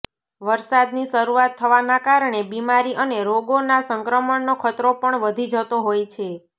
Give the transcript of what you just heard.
વર્ષાદની શરૂઆત થવાના કારણે બીમારી અને રોગોના સંક્રમણનો ખતરો પણ વધી જતો હોય છે